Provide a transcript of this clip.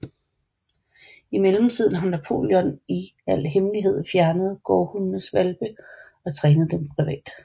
I mellemtiden har Napoleon i al hemmelighed fjernet gårdhundenes hvalpe og trænet dem privat